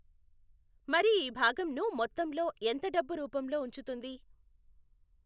మరి ఈభాగంను మొత్తంలో ఎంత డబ్బు రూపంలో వుంచుతుంది?